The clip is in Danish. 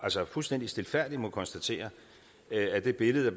fuldstændig stilfærdigt må konstatere at det billede